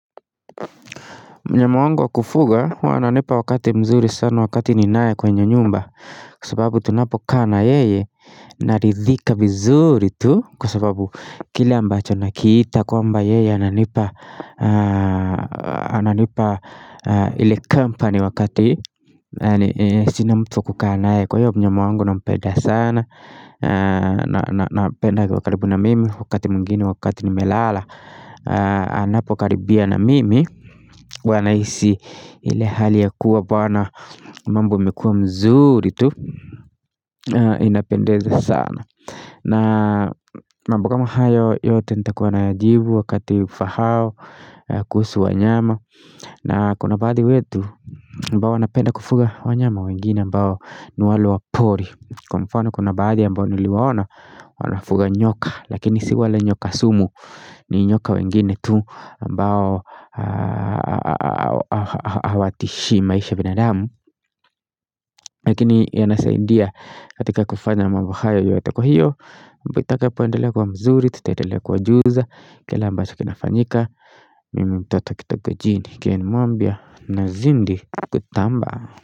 Mnyama wangu wa kufuga huwa ananipa wakati mzuri sana wakati ninaye kwenye nyumba kwa sababu tunapokaa na yeye naridhika mzuri tu Kwa sababu kila ambacho nakiita kwamba yeye ananipa Ananipa ile company wakati Sina mtu wa kukaa naye kwa hiyo mnyama wangu nampeda sana Napenda akiwa karibu na mimi wakati mwingine wakati nimelala Anapokaribia na mimi huwa nahisi ile hali ya kuwa Bwana mambo imekua mzuri tu inapendeza sana na mambo kama hayo yote nitakuwa nayajibu Wakati ufahao kuhusu wanyama na kuna baadhi wetu ambao wanapenda kufuga wa nyama wengine ambao ni wale wa pori Kwa mfano kuna baadhi ambao niliwaona Wanafuga nyoka Lakini si wale nyoka sumu ni nyoka wengine tu ambao hawatishi maisha ya binadamu Lakini yanasaidia katika kufanya mambo hayo yote kwa hiyo mambo itakapoendelea kuwa mzuri Tutaendelea kuwajuza yale ambacho kinafanyika Mimi mtoto kutoka kijijini nikimwambia nazidi kutamba.